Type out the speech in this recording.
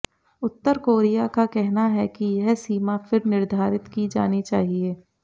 उत्तर Korea का कहना है कि यह सीमा फिर निर्धारित की जानी चाहिए